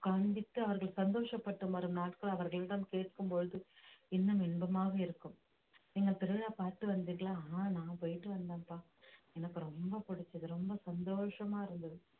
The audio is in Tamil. காண்பித்து அவர்கள் சந்தோஷப்பட்டு வரும் நாட்கள் அவர்களிடம் கேட்கும் பொழுது இன்னும் இன்பமாக இருக்கும் நீங்க திருவிழா பார்த்து வந்தீங்களா ஆஹ் நான் போயிட்டு வந்தேன்ப்பா எனக்கு ரொம்ப பிடிச்சது ரொம்ப சந்தோஷமா இருந்தது